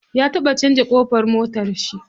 Ya taɓa canza ƙofar motarshi.